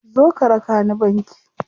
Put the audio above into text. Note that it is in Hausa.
Zo ka raka ni banki.